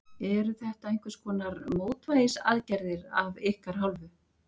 Eru þetta einhverskonar mótvægisaðgerðir af ykkar hálfu?